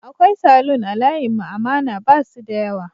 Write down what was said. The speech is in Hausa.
Akwai Salon a layin mu amana basu da yawa